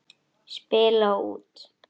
Spila út.